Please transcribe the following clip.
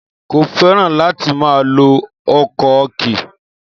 Kò fẹ́ràn láti máa lo ọ̀kọ̀ọ̀kì.